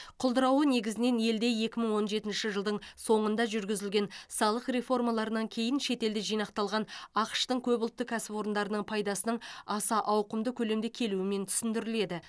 құлдырауы негізгінен елде екі мың он жетінші жылдың соңында жүргізілген салық реформаларынан кейін шетелде жинақталған ақш тың көпұлтты кәсіпорындарының пайдасының аса ауқымды көлемде келуімен түсіндіріледі